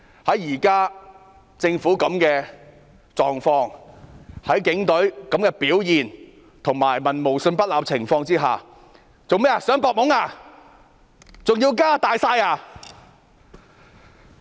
以現時政府的狀況、警隊的表現，以及在民無信不立的情況下，政府想"搏懵"嗎？